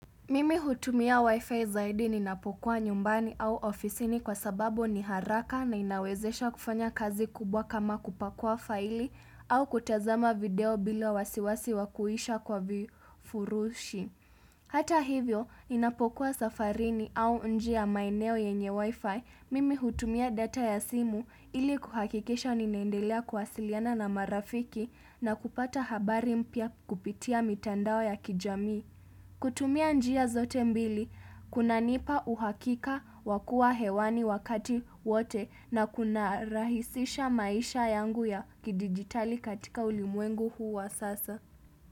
Mimi hutumia wifi zaidi ninapokuwa nyumbani au ofisini kwa sababu ni haraka na inawezesha kufanya kazi kubwa kama kupakua faili au kutazama video bila wasiwasi wa kuisha kwa vifurushi. Hata hivyo, ninapokuwa safarini au njia ya maeneo yenye wifi, mimi hutumia data ya simu ili kuhakikisha ninaendelea kuwasiliana na marafiki na kupata habari mpya kupitia mitandao ya kijamii. Kutumia njia zote mbili, kunanipa uhakika wakuwa hewani wakati wote na kunarahisisha maisha yangu ya kidigitali katika ulimwengu huu wa sasa.